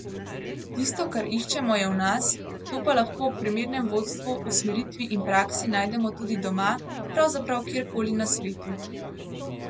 Tisto, kar iščemo, je v nas, to pa lahko ob primernem vodstvu, usmeritvi in praksi najdemo tudi doma, pravzaprav kjer koli na svetu.